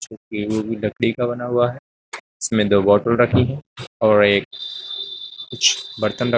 लकड़ी का बना हुआ है इसमें दो बॉटल रखे है और एक कुछ बर्तन रख --